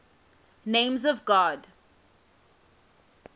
names of god